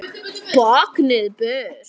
Báknið burt!